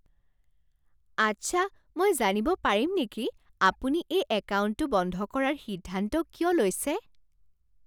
আচ্ছা। মই জানিব পাৰিম নেকি আপুনি এই একাউণ্টটো বন্ধ কৰাৰ সিদ্ধান্ত কিয় লৈছে?